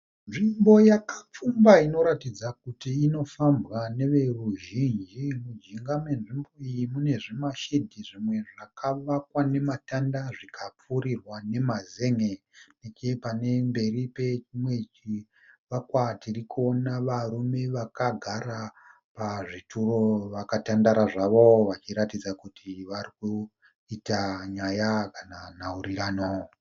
Nzvimbo yakapfumba inoratidza kuti inofambwa neveruzhinji . Mujinga menzvimbo iyi munezvima shedhi zvimwe zvakavakwa nematanda zvika pfirirwa nemazen'e . Nechepamberi pechinwe chivakwa tirikuona varume vakagara pazvituro vakatandara zvavo vachiratidza kuti varikuita nyaya kana nhaurirano.